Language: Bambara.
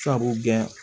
Sabu kɛ